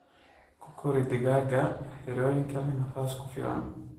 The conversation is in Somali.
Ku kori digaaga xirooyinka leh nafaas ku filan.